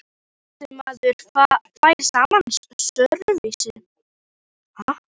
En næsti maður fær sama sörvis.